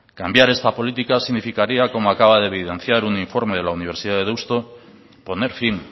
cambiar esta política significaría como acaba de evidenciar un informe de la universidad de deusto poner fin